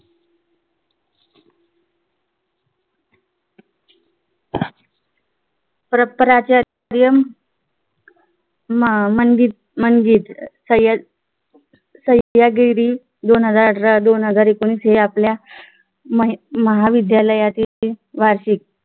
परंपरांच्या क्रियम हम्म मंचिद मंचिद सह्यगिरी सह्यगिरी दोन हजार अठरा दोन हजार एकोणवीस हे आपल्या मही महाविद्यालयाचे वार्षिक